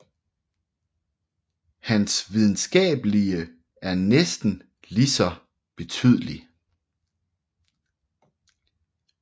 Hans videnskabelige er næsten lige så betydelig